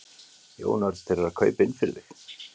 Jón Örn: Þeir eru að kaupa inn fyrir þig?